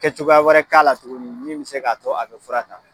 Kɛ cogoya wɛrɛ k'a la tugunni min bɛ se k'a tɔ a bɛ fura ta.